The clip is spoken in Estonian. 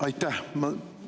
Aitäh!